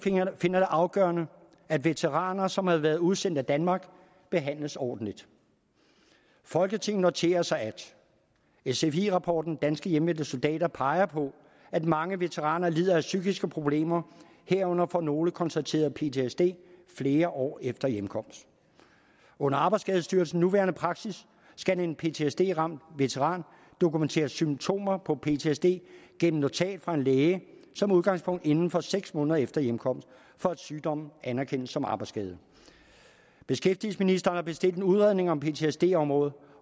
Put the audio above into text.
finder det afgørende at veteraner som har været udsendt af danmark behandles ordentligt folketinget noterer sig at sfi rapporten danske hjemvendte soldater peger på at mange veteraner lider af psykiske problemer herunder får nogle konstateret ptsd flere år efter hjemkomst under arbejdsskadestyrelsens nuværende praksis skal en ptsd ramt veteran dokumentere symptomer på ptsd gennem notat fra en læge som udgangspunkt inden for seks måneder efter hjemkomst for at sygdommen anerkendes som arbejdsskade beskæftigelsesministeren har bestilt en udredning om ptsd området